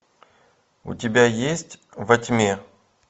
у тебя есть во тьме